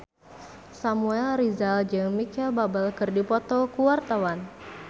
Samuel Rizal jeung Micheal Bubble keur dipoto ku wartawan